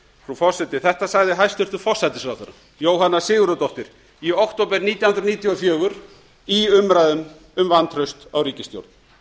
forseti þetta sagði hæstvirtur forsætisráðherra jóhanna sigurðardóttir í október nítján hundruð níutíu og fjögur í umræðum um vantraust á ríkisstjórn